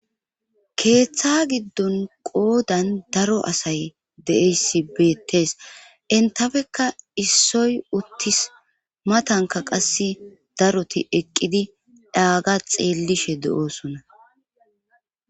Keeththa giddon qoodan daro asay deeyssi beettees entafekka issoy uttis matanka qass daroti eqqidi dhaaga xeellishe de7oosonna.